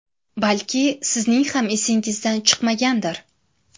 Balki sizning ham esingizdan chiqmagandir?